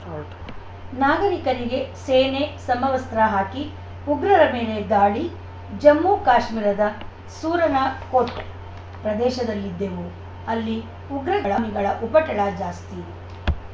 start ನಾಗರಿಕರಿಗೆ ಸೇನೆ ಸಮವಸ್ತ್ರ ಹಾಕಿ ಉಗ್ರರ ಮೇಲೆ ದಾಳಿ ಜಮ್ಮುಕಾಶ್ಮೀರದ ಸೂರನಕೋಟ್‌ ಪ್ರದೇಶದಲ್ಲಿದ್ದೆವು ಅಲ್ಲಿ ಉಗ್ರಗಾಮಿಗಳ ಉಪಟಳ ಜಾಸ್ತಿ